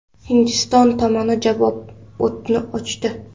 Hindiston tomoni javob o‘tini ochdi.